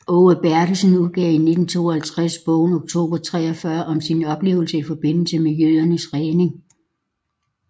Aage Bertelsen udgav i 1952 bogen Oktober 43 om sine oplevelser i forbindelse med jødernes redning